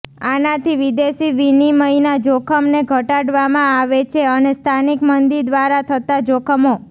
આનાથી વિદેશી વિનિમયના જોખમને ઘટાડવામાં આવે છે અને સ્થાનિક મંદી દ્વારા થતા જોખમો